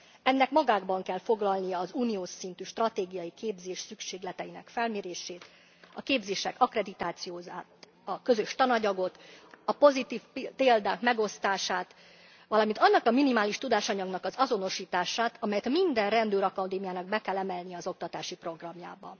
Ennek magában kell foglalnia az uniós szintű stratégiai képzés szükségleteinek felmérését, a képzések akkreditációját, a közös tananyagot, a pozitív példák megosztását, valamint annak a minimális tudásanyagnak az azonosítását, amelyet minden rendőrakadémiának be kell emelnie az oktatási programjába.